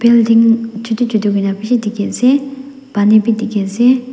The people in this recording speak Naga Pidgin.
building chutu chutu hoina bishi dikhiase pani bi dikhiase.